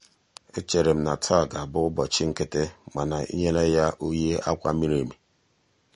echere m na taa ga-abụ ụbọchị nkịtị mana ị nyela ya oyi akwa miri emi.